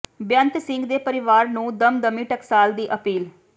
ਬੇਅੰਤ ਸਿੰਘ ਦੇ ਪਰਿਵਾਰ ਨੂੰ ਦਮਦਮੀ ਟਕਸਾਲ ਦੀ ਅਪੀਲ